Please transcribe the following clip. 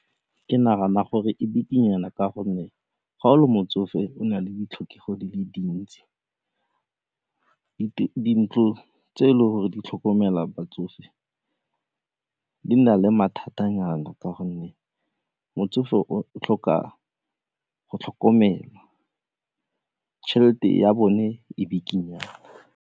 Ke nagana gore e bikinyana ka gonne ga o le motsofe go nale ditlhokego di le dintsi. Dintlo tse e leng gore di tlhokomela batsofe di na le mathatanyana ka gonne motsofe o tlhoka go tlhokomelwa, tšhelete ya bone e bikinyana.